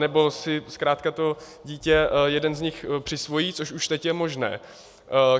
Nebo si zkrátka to dítě jeden z nich přisvojí, což už teď je možné.